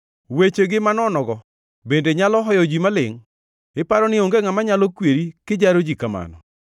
Wechegi manonogo bende nyalo hoyo ji malingʼ? Iparo ni onge ngʼama nyalo kweri kijaro ji kamano?